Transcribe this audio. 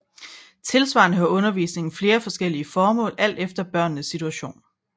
Tilsvarende har undervisningen flere forskellige formål alt efter børnenes situation